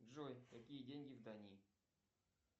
джой какие деньги в дании